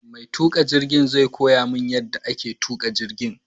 Mai tuƙa jirgin zai koya min yadda ake tuƙa jirgin